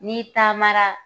N'i taamara